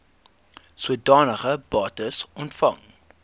sodanige bates ontvang